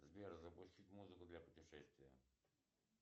сбер запустить музыку для путешествия